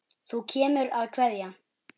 Þú kemur að kveðja.